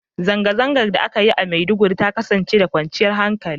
Zangazangan da a ka Yi a maiduguri ta kasance da kwanchiyar hankali